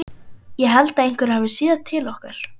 Ég held einhver hafi séð til okkar.